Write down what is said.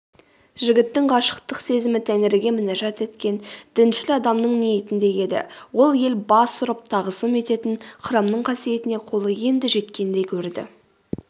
жігіттің ғашықтық сезімі тәңіріге мінажат еткен діншіл адамның ниетіндей еді ол ел бас ұрып тағызым ететін храмның қасиетіне қолы енді жеткендей көрді